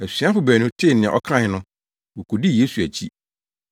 Asuafo baanu no tee nea ɔkae no, wokodii Yesu akyi.